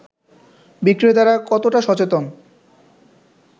বিক্রেতারা কতটা সচেতন